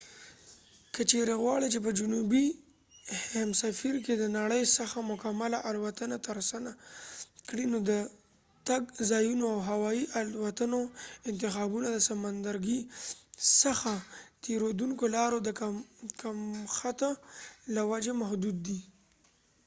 که چیرې غواړې چې په جنوبي هیمسفیر کې د نړۍ څخه مکمله الوتنه ترسره کړې نو د تګ د ځایونو او هوایي الوتنو انتخابونه د سمندرګي څخه تیرودونکو لارو د کمښت له وجې محدود دي